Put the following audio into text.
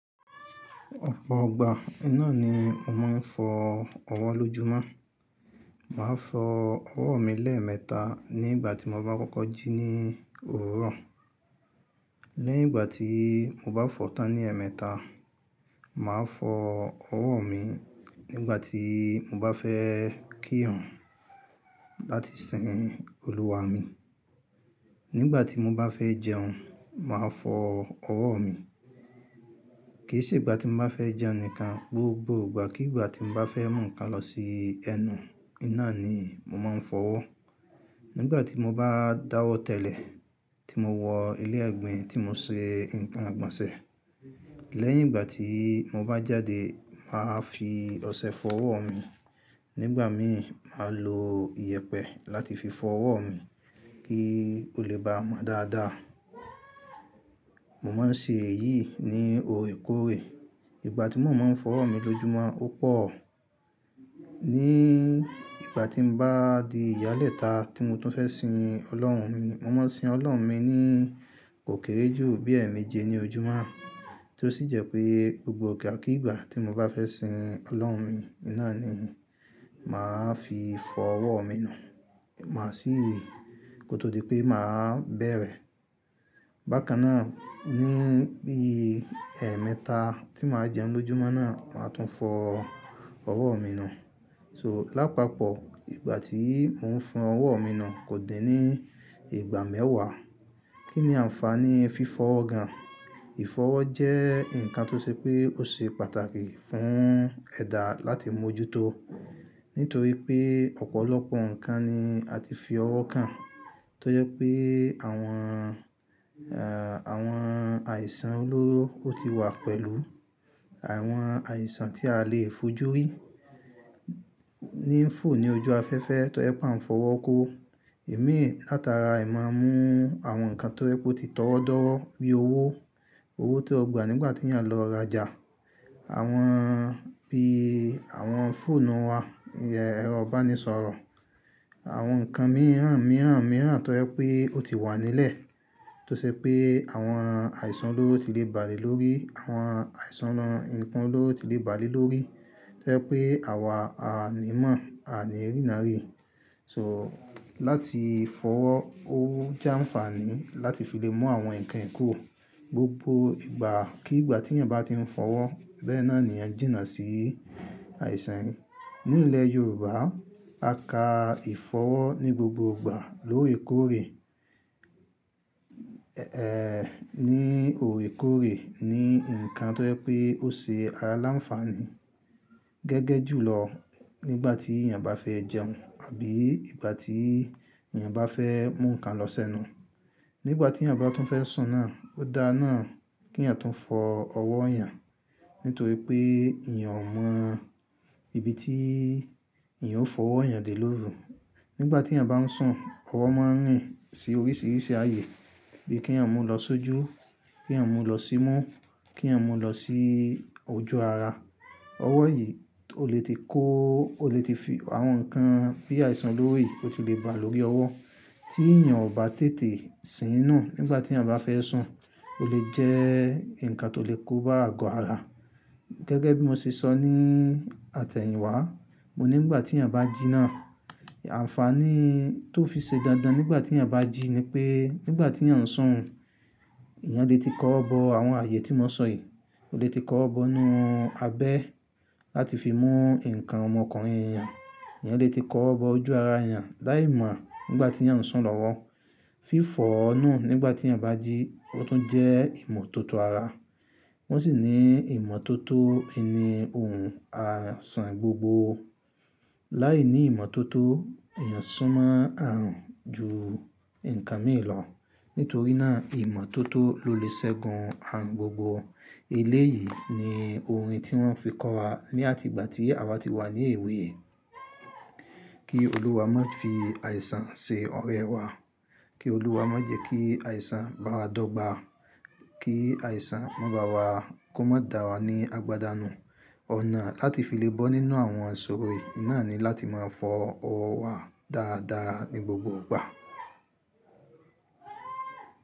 Ọpọ̀ igbà, nná ni mo máa ń fọ ọwọ́ lójumon. Màá fọ ọwọ́ mi lẹ́ẹ̀mẹta ní ìgbà tí mo bá kọ́kọ́ jí ní owurọ̄. Lẹ́yìn ìgbà tí mo bá fọ tán ní ẹ̀ẹ́mẹta, màá fọ ọwọ́ mi nígbà tí mo bá fẹ́ kírun láti sìn olúwa mi. Nígbà tí mo bá fẹ́ jẹun, màá fọ ọwọ́ mi. Kì í ṣe ìgbà tí mo bá fẹ́ jẹun nìkan, gbogbo ìgbà kí ìgbà tí mo bá fẹ́ mú ǹkan lọ sí ẹnu, nná ni mo máa ń fọ ọwọ́. Nígbà tí mo bá dáwọ́ tẹ́lẹ̀ tí mo wọ ilé ẹ̀gbin tí mo ṣe ǹkan igbọ̀nṣẹ̀. Lẹ́yìn ìgbà tí mo bá jáde, màá fi ọṣẹ fọ ọwọ́ mi. Nígbà min máa lo ìyẹ̀pẹ̀ láti fi fọ ọwọ́ mi kí ó le bá mọ dáadáa. Mo máa ń ṣe èyí ní òrèkóòrè. Ìgbà tí mo moń fọ ọwọ́ mi lójúmọ́ ó pọ̀. Ní ìgbà tí o bá di ìyálẹ̀ta tí mo tún fẹ́ sin Ọlọ́run mi, mo máa sin Ọlọ́run mi ní kòkèèrè ju bí ẹ̀ẹ̀mẹjẹ ní ojúmọ́. Tó sì jẹ́ pé gbogbo ìgbà kí ìgbà tí mo bá fẹ́ sin Ọlọ́run mi, nná ni màá fi fọ ọwọ́ mi nù. Màá sì kó tó di pé màá bẹ̀rẹ̀. Bákan náà, ní bií ẹ̀ẹ́mẹta tí màá jẹun lójúmọ́ náà, màá tún fọ ọwọ́ mi nù. So lápapọ̀ ìgbà tí mò ń fọ ọwọ́ mi nù kò din ní ìgbà mẹ́wàá. Kí ni àǹfààní fífọ ọwọ́ gan-an? Ìfọwọ́ jẹ́ ǹkan tó ṣe pé ó ṣe pàtàkì fún ẹ̀dá láti mójúto. Nítorí pé ọ̀pọ̀lọpọ̀ ǹkan ni a ti fi ọwọ́ kàn. Tó jẹ́ pé àwọn, àwọn àìsàn olóró o ti wà pẹ̀lú. Àwọn àìsàn tí a lè fojú rí. Ní fọ̀ ní ojú afẹ́fẹ́ tó jẹ́ pé a ń fọwọ́ kó. Imín látara e mọ̀n mú àwọn ǹkan tó rẹ́ pé ó ti tọwọ́ọ́dọ́rọ́ bí owó. Owó tí o gbà nígbà tí èèyàn lọ rajà. Àwọn bí àwọn fóònù wa, ẹ̀rọ ìbánisọ̀rọ̀. Àwọn ǹkan mìíràn mìíràn mìíràn tó rẹ́ pé ó ti wà nílẹ̀. Tó ṣe pé àwọn àìsàn olóró ti lè balẹ̀ lórí, àwọn àìsàn àwọn ǹkan olóró ti lè balẹ̀ lórí. Tó jẹ́ pé àwa a ní ìmọ̀, a ni rínànrí. So, láti fọwọ́, o jẹ́ àǹfààní láti fi lè mú àwọn ǹkan kúrò. Gbogbo ìgbà k'ìgbà tí èèyàn bá ti ń fọwọ́ bẹ́ẹ̀ náà ni ẹ̀ jìnà sí àìsàn. Ní ilẹ̀ Yorùbá, a ka ìfọwọ́ ní gbogbo ìgbà lórèkóòrè. Ẹ̀e, ní òrèkóòrè ni ǹkan tó jẹ́ pé ó ṣe ara láǹfààní. Gẹ́gẹ́ ju lọ, nígbà tí èèyàn bá fẹ́ jẹun àbí ìgbà tí èèyàn bá fẹ́ mú ǹkan lọ sẹ́nu. Nígbà tí èèyàn bá tún fẹ́ sùn náà, ó dáa náà kí èèyàn tún fọ ọwọ́ èèyàn. Nítorí pé èèyàn o mọn ibi tí èèyàn ó fọwọ́ èèyàn dé lóru. Nígbà tí èèyàn bá ń sùn, ọwọ́ máa ń rìn sí oríṣìíríṣìí ààyè. Bí kí èèyàn mú lọ sójú, kí èèyàn mú lọ sínú, kí èèyàn mú lọ sí ojú ara. Ọwọ́ yìí ó lè ti kó, ó lè ti fi àwọn ǹkan bí àìsàn lórí, ó ti lè ba l'órí ọwọ́. Tí èèyàn ò bá tètè sì'nú nígbà tí èèyàn bá fẹ́ sùn, ó lè jẹ́ ǹkan tó lè kóba àgọ́ ara. Gẹ́gẹ́ bí mo ṣe sọ ní àtẹ̀yìnwá, mo ní nígbà tí èèyàn bá jí náà, àǹfààní tó fi ṣe dandan nígbà tí èèyàn bá jí ni pé nígbà tí èèyàn ń sùn, èèyàn lè ti kọ́ ọ̀bọ àwọn ààyè tí mo sọ yìí. Ó lè ti kọ́ ọ̀bọ inú abẹ́ láti fi mú ǹkan ọmọkunrin èèyàn. Ẹ̀yàn lè ti kọ́ ọ̀bọ ojú ara èèyàn láì mọ̀ nígbà tí èèyàn ń sùn lọ́wọ́. Fífọ̀o nu nígbà tí èèyàn bá jí ó tún jẹ́ ìmọ̀tótó ara. Ó sì ni ìmọ̀tótó ini ohun àìsàn gbogbo. Láìní ìmọ̀tótó, èèyàn sún mon arùn ju ǹkan mìíràn lọ. Nítorí náà ìmọ̀tótó ló lè ṣẹ́gun àrùn gbogbo. Ilé yìí ni orin tí wọ́n fi kọ́ wa ní àti ìgbà tí àwa ti wà ní èwe. Kí olúwa má fi àìsàn ṣe ọ̀rẹ́ wa. Kí olúwa má jẹ́ kí àìsàn bá wa dọ́gba. Kí àìsàn má bá wa, kó má dà wa ní àgbàdá nù. Ọ̀nà láti fi lè bọ́ nínú àwọn iṣọro yíi náà ni láti máa fọ ọwọ́ wa dáadáa ní gbogbo ìgbà.